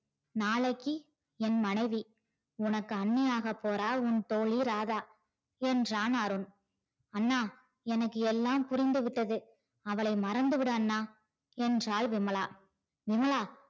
நாளைக்கி என் மனைவி உனக்கு அண்ணியாக போற உன் தோழி ராதா என்றான் அருண் அண்ணா எனக்கு எல்லாம் புரிந்து விட்டது அவளை மறந்து விடு அண்ணா என்றான் விமலா விமலா